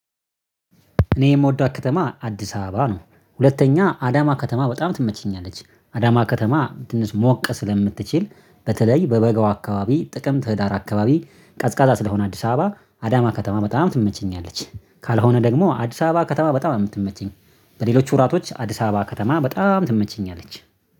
እኔ የምወዳት ከተማ አዲስ አበባ ነው ሁለተኛ አዳማ ከተማ በጣም ትመቸኛለች አዳማ ከተማ ትንሽ ሞቅ ስለምትችል በተለይ በበጋው አካባቢ ጥቅምት ህዳር አካባቢ ቀዝቃዛ ስለሆነ አዲስ አበባ አዳማ ከተማ በጣም ትመቸኛለች ካልሆነ ደግሞ አዲስ አበባ ከተማ በጣም ነው የምትመቸኝ። በሌሎች ወራቶች አዲስ አበባ ከተማ በጣም ትመቸኛለች